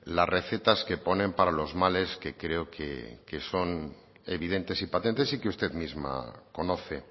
las recetas que ponen para los males que creo que son evidentes y patentes y que usted misma conoce